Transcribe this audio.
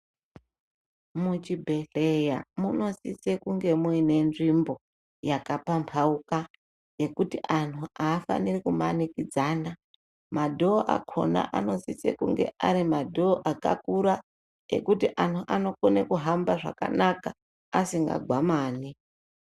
Muchibhedhleya munosise kunge muine nzvimbo yakapamphauka ,yekuti anhu aafaniri kumanikidzana. Madhoo akhona anosise kunge ari madhoo akakura, ekuti ana anokone kuhamba zvakanaka, asingagwamani.